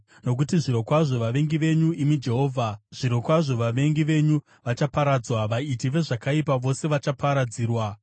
Nokuti zvirokwazvo vavengi venyu, imi Jehovha, zvirokwazvo vavengi venyu vachaparadzwa; vaiti vezvakaipa vose vachaparadzirwa.